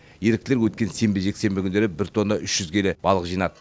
еріктілер өткен сенбі жексенбі күндері бір тонна үш жүз келі балық жинады